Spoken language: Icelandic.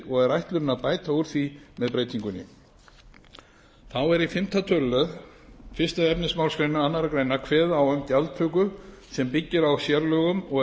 og er ætlunin að bæta úr því með breytingunni þá er í fimmta tölulið fyrstu efnismgr annarri grein kveðið á um gjaldtöku sem byggir á sérlögum og er